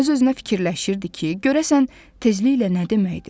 Öz-özünə fikirləşirdi ki, görəsən tezliklə nə deməkdir?